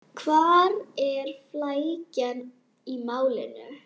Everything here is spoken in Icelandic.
Hvar er flækjan í málinu?